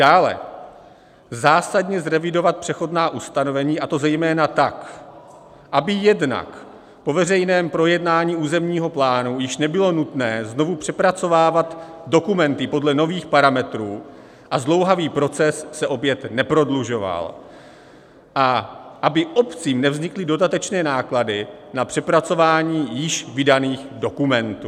Dále - zásadně zrevidovat přechodná ustanovení, a to zejména tak, aby jednak po veřejném projednání územního plánu již nebylo nutné znovu přepracovávat dokumenty podle nových parametrů a zdlouhavý proces se opět neprodlužoval a aby obcím nevznikly dodatečné náklady na přepracování již vydaných dokumentů.